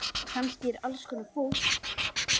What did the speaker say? Kannski alls konar fólk.